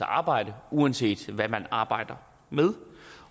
arbejde uanset hvad man arbejder med